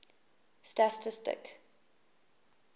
stastistic